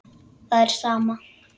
Það er sama.